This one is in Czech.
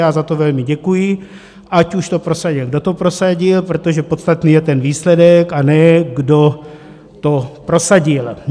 Já za to velmi děkuji, ať už to prosadil, kdo to prosadil, protože podstatný je ten výsledek, a ne kdo to prosadil.